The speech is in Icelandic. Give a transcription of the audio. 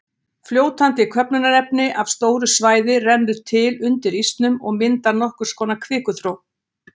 Fljótandi köfnunarefni af stóru svæði rennur til undir ísnum og mynda nokkurs konar kvikuþró.